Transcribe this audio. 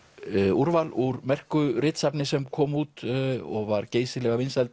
úrval úr merku ritsafni sem kom út og var geysilega vinsælt